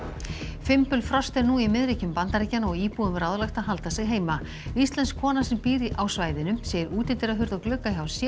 fimbulfrost er nú í Bandaríkjanna og íbúum ráðlagt að halda sig heima íslensk kona sem býr á svæðinu segir útidyrahurð og glugga hjá sér